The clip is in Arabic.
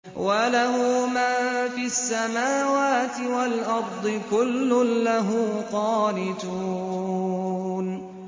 وَلَهُ مَن فِي السَّمَاوَاتِ وَالْأَرْضِ ۖ كُلٌّ لَّهُ قَانِتُونَ